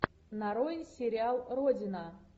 нарой сериал родина